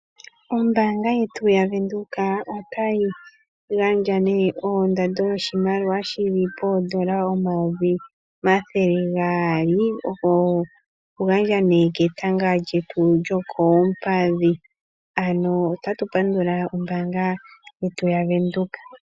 Ombaanga yaVenduka otayi gandja oshimaliwa shondando yoondola 200 000.00 dhaNamibia, kosipana yetanga lyokoompadhi nosipana ndjono oya gandja omapandulo.